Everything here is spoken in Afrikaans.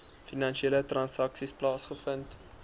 finansiële transaksies plaasgevind